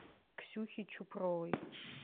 ксюхи чупровой